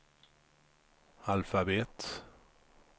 alfabet